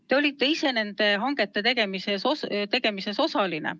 Te olite ise nende hangete tegemisel osaline.